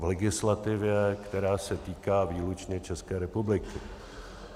V legislativě, která se týká výlučně České republiky.